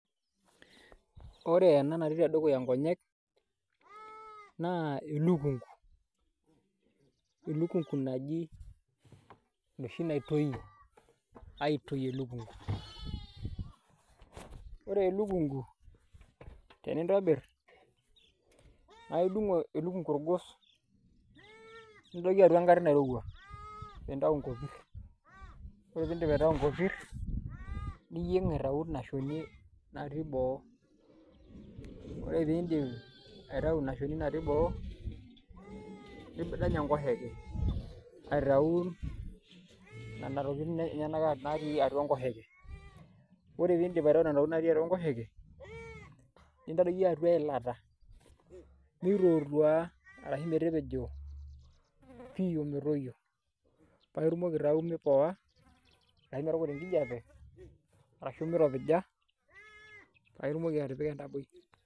Wore ena natii tedukuya inkonyek, naa elukungu. Elukungu naji enoshi naitoyi, aitoyi elukungu. Wore elukungu, tenintobirr, naa indung orgos nintadoki atua enkare nairowua pee intayu inkopirr, wore pee indip aitayu inkopirr, niyieng aitayu inia shoni natii boo. Wore pee indip aitayu inia shoni natii boo, nidany enkoshoke, aitayu niana tokitin enyanak natii atua enkoshoke. Wore pee indip aitayu niana tokitin natii atua enkoshoke, nintadoki atua eilata mitootua arashu metepejo pii ometoyuo paa itumoki aitayu mipoa arashu metukuta enkijape, arashu miropija, paa itumoki atipika entaboi.